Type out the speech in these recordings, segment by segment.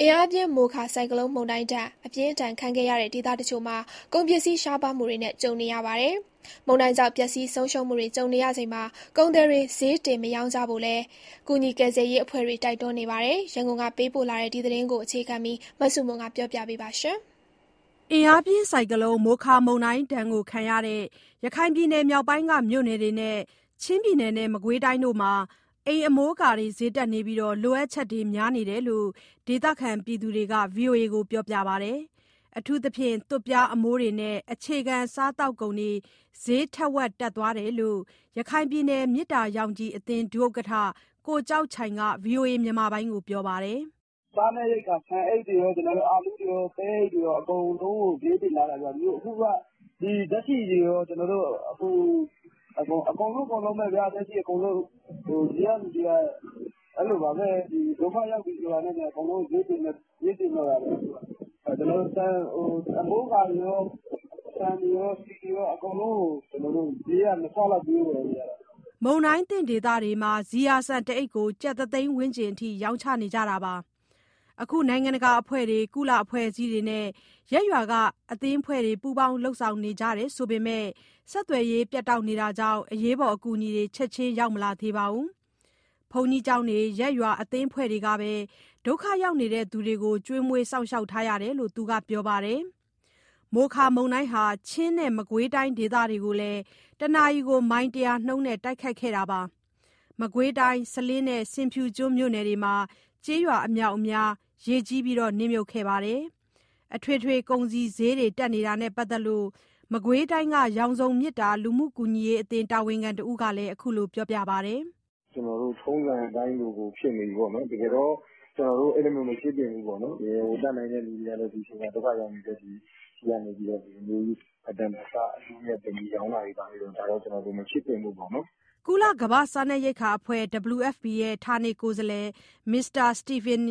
အင်အားပြင်း မိုခါဆိုင်ကလုန်းမုန်တိုင်းဒဏ် အပြင်းအထန်ခံခဲ့ရတဲ့ ဒေသတချို့မှာ ကုန်ပစ္စည်း ရှားပါးမှုတွေနဲ့ ကြုံနေရပါတယ်။ မုန်တိုင်းကြောင့် ပျက်စီးဆုံးရှုံးမှုတွေ ကြုံနေရချိန်မှာ ကုန်သည်တွေ ဈေးတင်မရောင်းကြဖို့လည်း ကူညီကယ်ဆယ်ရေး အဖွဲ့တွေ တိုက်တွန်းနေပါတယ်။ ရန်ကုန်ကပေးပို့လာတဲ့ ဒီသတင်းကို အခြေခံပြီး မဆုမွန်က တင်ပြပေးမှာပါ။ ရခိုင်ပြည်နယ်မြောက်ပိုင်းက မြို့နယ်တွေနဲ့ မုန်တိုင်းဒဏ်ခံရတဲ့ ချင်းနဲ့ မကွေးတိုင်းတို့မှာ အိမ်အမိုးအကာတွေ စျေးတက်နေပြီး လိုအပ်ချက်လည်း များနေတယ်လို့ ဒေသခံတွေက ဗွီအိုအေကို ပြောပါတယ်။ အထူးသဖြင့် သွပ်ပြားအမိုးတွေနဲ့ အခြေခံစားသောက်ကုန်တွေ စျေးထက်ဝက် တက်သွားတယ်လို့ ရခိုင်ပြည်နယ် မေတ္တာရောင်ခြည်အသင်း ဒုဥက္ကဋ္ဌ ကိုကျောက်ချိုင်က ဗွီအိုအေကို ပြောပါတယ်။ "စားနပ်ရိက္ခာ ဆန်အိတ်တွေရော၊ အာလူးတွေရော၊ ပဲအိတ်တွေရော အကုန်လုံးကို စျေးတင်ထားတာဗျ။ အခုက ဓာတ်ဆီတွေရော အကုန်လုံးပေါ့။ ဒီကလူတွေက အဲလိုပါပဲ ဒုက္ခရောက်ပြီဆိုတာနဲ့ အကုန်လုံး စျေးတင်တော့တာပဲ။ အမိုးအကာတွေရော၊ ဆန်တွေရော၊ ဆီတွေရော အကုန်လုံးကို စျေးက နှစ်ဆလောက် ပေးဝယ်နေရတာ။" မုန်တိုင်းသင့်ဒေသတွေမှာ ဇီယာဆန်တအိတ်ကို ကျပ်တစ်သိန်း ဝန်းကျင်အထိ ရောင်းချနေကြတာပါ။ အခု နိုင်ငံတကာအဖွဲ့တွေ၊ ကုလအဖွဲ့အစည်းတွေနဲ့ ရပ်ရွာက အသင်းအဖွဲ့တွေ ပူးပေါင်း လုပ်နေကြတယ်ဆိုပေမဲ့ ဆက်သွယ်ရေး ပြတ်တောက်နေတာကြောင့် အရေးပေါ် အကူအညီတွေ ချက်ချင်း ရောက်မလာသေးပါဘူး။ ဘုန်းကြီးကျောင်းတွေ၊ ရပ်ရွာ အသင်းအဖွဲ့တွေကပဲ ဒုက္ခရောက်နေသူတွေကို ကျွေးမွေးထားရတယ်လို့ သူကပြောပါတယ်။ မိုခါမုန်တိုင်းဟာ ချင်းနဲ့ မကွေးတိုင်း ဒေသတွေကိုလည်း တနာရီ မိုင် ၁၀၀ ကျော်နှုန်းနဲ့ တိုက်ခတ်ခဲ့ပါတယ်။ မကွေးတိုင်း၊ စလင်းနဲ့ ဆင်ဖြူကျွန်း မြို့နယ်တွေမှာ ကျေးရွာအမြာက်အများ ရေကြီးနစ်မြုပ်ခဲ့တာပါ။ အထွေထွေ ကုန်စည်စျေးတွေ တက်နေတာနဲ့ပတ်သက်ပြီး မကွေးတိုင်းက ရောင်စုံမေတ္တာ လူမှုကူညီရေးအသင်း တာဝန်ခံတဦးက အခုလိုပြောပါတယ်။ "ကျနော်တို့ ထုံးစံအတိုင်းကို ဖြစ်နေပြီပေါ့နော်။ တကယ်တော့ ကျနော်တို့ အဲလိုမျိုး မဖြစ်သင့်ဘူး။ တတ်နိုင်တဲ့သူတွေကလည်း ဒုက္ခရောက်နေသူတွေဆီကနေ မတန်တဆ အကျိုးအမြတ်တင်ပြီး ရောင်းတာတွေဘာတွေ မဖြစ်သင့်ဘူးပေါ့နော်။" ကုလကမ္ဘာ့စားနပ်ရိက္ခာအဖွဲ့ WFP ရဲ့ ဌာနေကိုယ်စားလှယ် Mr Stephen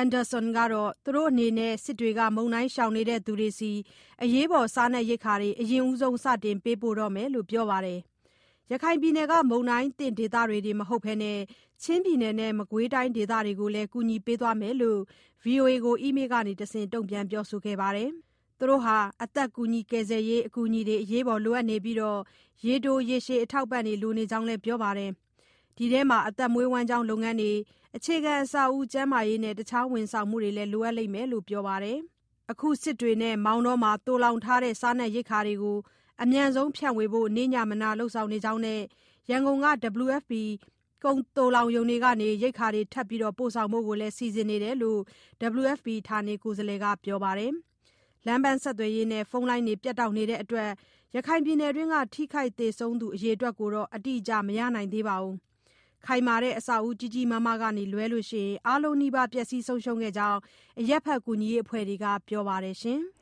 Anderson ကတော့ သူတို့အနေနဲ့ စစ်တွေက မုန်တိုင်းရှောင်နေသူတွေဆီ အရေးပေါ် စားနပ်ရိက္ခာတွေ အရင်ဦးဆုံး စတင်ပေးပို့တော့မယ်လို့ ပြောပါတယ်။ ရခိုင်က မုန်တိုင်းသင့် ဒေသတွေတင် မဟုတ်ဘဲ ချင်းနဲ့ မကွေးတိုင်း ဒေသတွေကိုလည်း ကူညီသွားမယ်လို့ VOA ကို အီးမေးကတဆင့် ပြောခဲ့ပါတယ်။ သူတို့ဟာ အသက်ကယ်ဆယ်ရေး အကူအညီတွေကို အရေးပေါ်လိုနေပြီး ရေတိုရေရှည် အထောက်အပံ့တွေ လိုနေကြောင်းလည်း ပြောပါတယ်။ ဒီထဲမှာ အသက်မွေးဝမ်ကြောင်း လုပ်ငန်း၊ အခြေခံအဆောက်အဦး၊ ကျန်းမာရေးနဲ့ တခြားဝန်ဆောင်မှုတွေ လိုအပ်လိမ့်မယ်လို့ ပြောပါတယ်။ အခု စစ်တွေနဲ့ မောင်တောမှာ သိုလှောင်ထားတဲ့ စားနပ်ရိက္ခာတွေကို အမြန်ဆုံးဖြန့်ဝေဖို့ နေ့ညမနား လုပ်ဆောင်နေကြောင်းနဲ့ ရန်ကုန်က WFP ကုန်သိုလှောင်ရုံတွေကနေ ရိက္ခာတွေ ထပ်ပို့ဖို့လည်း စီစဉ်နေကြောင်း WFP ဌာနေကိုယ်စားလှယ်က ပြောပါတယ်။ လမ်းပန်းဆက်သွယ်ရေးနဲ့ ဖုန်းလိုင်းတွေ ဖြတ်တောက်နေလို့ ရခိုင်ပြည်နယ်က ထိခိုက်သေဆုံးသူ အရေအတွက်ကို အတိအကျ မရနိုင်သေးပါဘူး။ ခိုင်မာတဲ့ အဆောက်အဦး ကြီးကြီးမားမားကလွှဲလို့ အားလုံးနီးပါး ပျက်စီးခဲ့ကြောင်း အရပ်ဘက် ကူညီရေးအဖွဲ့တွေက ပြောပါတယ်။